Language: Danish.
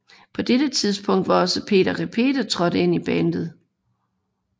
På dette tidspunkt var også Pete Repete trådt ind i bandet